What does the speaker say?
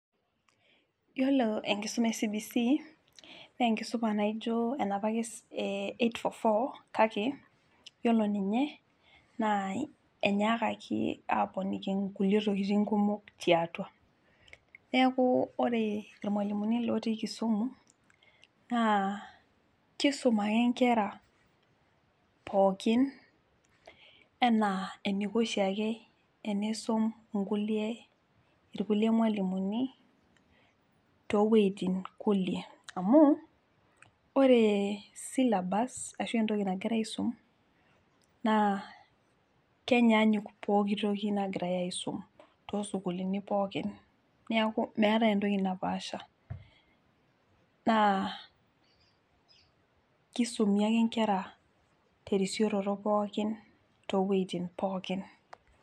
Yiolo enkisuma e CBC nenkisuma naijo enapa ake es eh 8 4 4 kake yiolo ninye naa enyaakaki aponiki inkulie tokitin kumok tiatua neku ore irmualimuni lotii kisumu naa kisum ake inkera pookin enaa eniko oshiake eneisum inkulie irkulie mualimuni towuejitin kulie amu ore syllabus ashu entoki nagirae aisum naa kenyanyuk pokitoki nagirae aisum tosukulini pookin niaku meetae entoki napasha naa kisumi ake inkera terisioroto pookin towuejitin pookin.